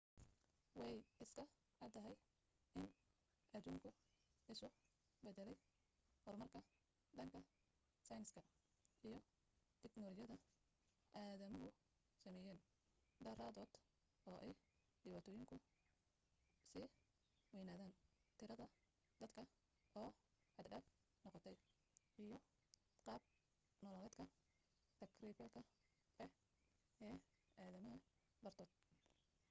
way iska caddahay in adduunku isu beddelay horumarka dhanka sayniska iyo tiknoolajiyadda aadamuhu sameeyeen daraadood oo ay dhibaatooyinkuna sii waynaadeen tirada dadka oo xad-dhaaf noqotay iyo qaab nololeedka tagrifalka ah ee aadamaha dartood